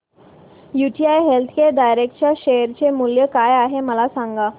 UTI healthcare direct च्या share चे मूल्य काय आहे मला सांगा